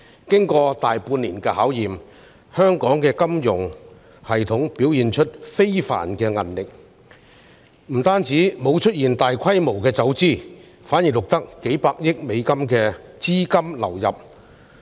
經過大半年的考驗，香港的金融系統表現出非凡的韌力，非但沒有出現大規模走資，反而錄得數百億美元的資金流入。